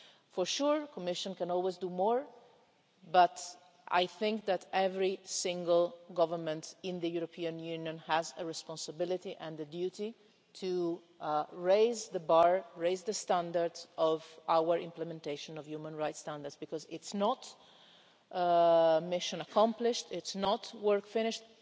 For sure the Commission can always do more, but I think that every single government in the European Union has a responsibility and a duty to raise the bar and raise the standard of our implementation of human rights standards, because it's not a mission accomplished and it's not work finished.